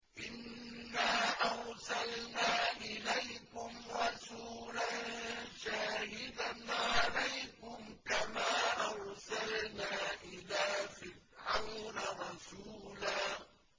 إِنَّا أَرْسَلْنَا إِلَيْكُمْ رَسُولًا شَاهِدًا عَلَيْكُمْ كَمَا أَرْسَلْنَا إِلَىٰ فِرْعَوْنَ رَسُولًا